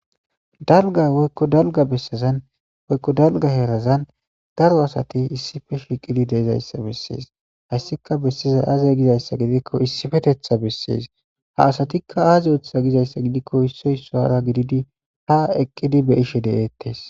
Dalga woykko dalga bessazan woykko dalga herazan daro asati issife shiqidi deezayssa bessees hayssika bessiza aaze gizayssa gidikko issifetetha bessees ha asatikka aaze oththa gizayssa gidikko issoy soara gididi ha eqqidi be ishe de'eettes